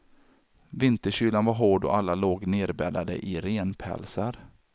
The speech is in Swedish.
Vinterkylan var hård och alla låg nerbäddade i renpälsar.